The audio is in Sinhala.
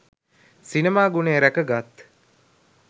සිනමා ගුණය ‍රැකගත්